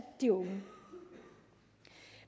de unge